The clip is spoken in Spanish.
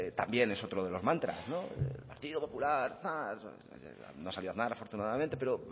también es otro de los mantras el partido popular no salió aznar afortunadamente pero